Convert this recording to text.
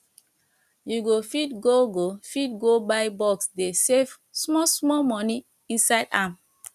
you go fit go go fit go buy box dey save small small money inside am